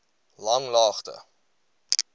langlaagte